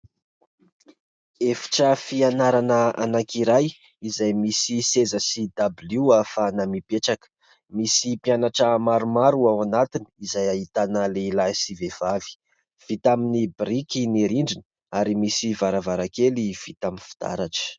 Efitra fianarana anankiray, izay misy seza sy dabilio ahafahana mipetraka; misy mpianatra maromaro ao anatiny, izay ahitana lehilahy sy vehivavy; vita amin'ny biriky ny rindrina, ary misy varavarankely vita amin'ny fitaratra.